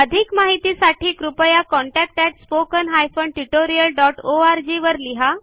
अधिक माहितीसाठी कृपया contactspoken tutorialorg वर लिहा